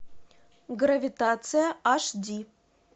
гравитация аш ди